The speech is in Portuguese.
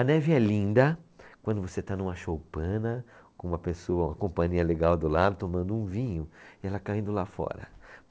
A neve é linda quando você está numa choupana com uma pessoa, uma companhia legal do lado, tomando um vinho e ela caindo lá fora.